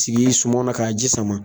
sigi suman na ka ji sama.